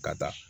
Ka taa